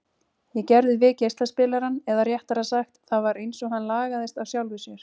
Ég gerði við geislaspilarann, eða réttara sagt, það var einsog hann lagaðist af sjálfu sér.